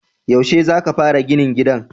Yaushe za ka fara ginin gidan?